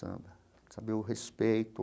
Samba. Saber o respeito,